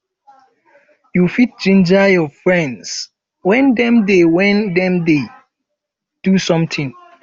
you fit ginger your friends when dem dey when dem dey um do something